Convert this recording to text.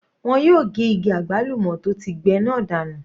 Wọ́n yóò ge igi àgbálùmọ́ tó ti gbẹ náà dànù.